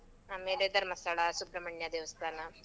ಆಮೇಲೆ ಧರ್ಮಸ್ಥಳ, ಸುಬ್ರಹ್ಮಣ್ಯ ದೇವಸ್ಥಾನ.